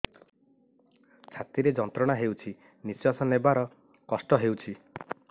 ଛାତି ରେ ଯନ୍ତ୍ରଣା ହେଉଛି ନିଶ୍ଵାସ ନେବାର କଷ୍ଟ ହେଉଛି